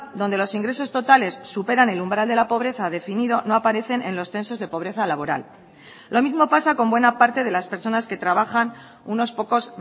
donde los ingresos totales superan el umbral de la pobreza definido no aparecen en los censos de pobreza laboral lo mismo pasa con buena parte de las personas que trabajan unos pocos